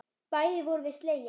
Bæði vorum við slegin.